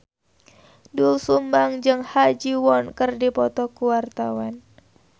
Doel Sumbang jeung Ha Ji Won keur dipoto ku wartawan